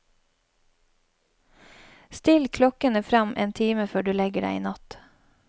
Still klokkene frem en time før du legger deg i natt.